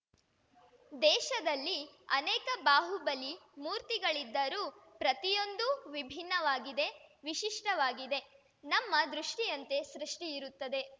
ದೇಶದಲ್ಲಿ ಅನೇಕ ಬಾಹುಬಲಿ ಮೂರ್ತಿಗಳಿದ್ದರೂ ಪ್ರತಿಯೊಂದೂ ವಿಭಿನ್ನವಾಗಿದೆ ವಿಶಿಷ್ಟವಾಗಿದೆ ನಮ್ಮ ದೃಷ್ಟಿಯಂತೆ ಸೃಷ್ಟಿ ಇರುತ್ತದೆ